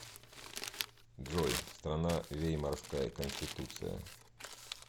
джой страна веймарская конституция